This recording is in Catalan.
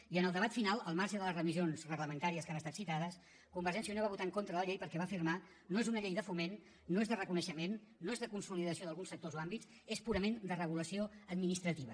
i en el debat final al marge de les remissions reglamentàries que han estat citades convergència i unió va votar en contra de la llei perquè va afirmar no és una llei de foment no és de reconeixement no és de consolidació d’alguns sectors o àmbits és purament de regulació administrativa